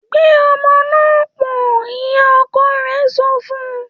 ‘Gbé o̩mo̩ náà pò̩n!’, ìyá-o̩ko̩ rè̩ so̩ fun